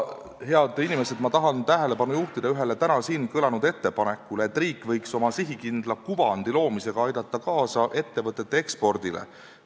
Head inimesed, ma tahan tähelepanu juhtida ühele täna siin kõlanud ettepanekule, et riik võiks oma sihikindla kuvandi loomisega aidata kaasa ettevõtete ekspordile.